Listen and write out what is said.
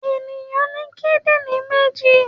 Ènìyàn ní kídìrín méjì.